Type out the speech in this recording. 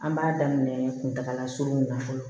An b'a daminɛ kuntagala surunw na fɔlɔ